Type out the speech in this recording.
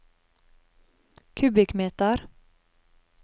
kubikkmeter